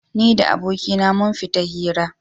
Ni da abokaina mun fita hira.